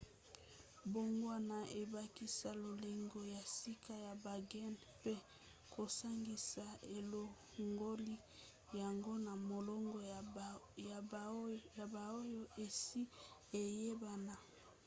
mbongwana ebakisa lolenge ya sika ya bagene mpe kosangisa elongoli yango na molongo ya baoyo esi eyebana